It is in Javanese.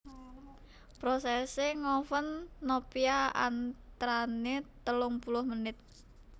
Prosèsè ngoven nopia antranè telung puluh menit